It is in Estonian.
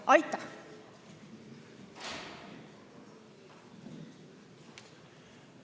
Aitäh!